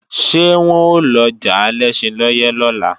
Ṣé wọ́n ó lọjà Alẹ́ṣinlọ́yẹ́ lọ́la?